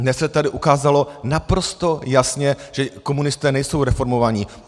Dnes se tady ukázalo naprosto jasně, že komunisté nejsou reformovaní.